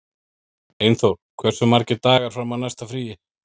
Einþór, hversu margir dagar fram að næsta fríi?